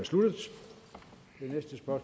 var